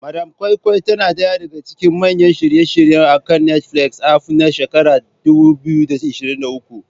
Madam Koi Koi tana ɗaya daga cikin manyan shirye-shiryen akan Netflix aff na shekara ta 2023.